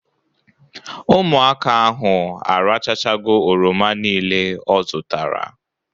Ụmụaka ahụ arachachago oroma nile ọ zụtara